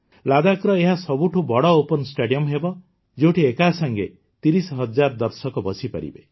ଲଦାଖର ଏହା ସବୁଠୁ ବଡ଼ ଓପନ୍ ଷ୍ଟାଡିଅମ୍ ହେବ ଯେଉଁଠି ଏକାସଂଗେ ୩୦୦୦୦ ଦର୍ଶକ ବସିପାରିବେ